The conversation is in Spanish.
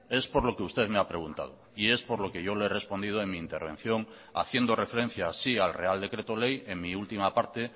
es por lo que usted me ha preguntado y es por lo que yo le he respondido en mi intervención haciendo referencia así al real decreto ley en mi última parte